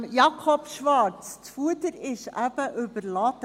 Jakob Schwarz, das Fuder ist eben überladen.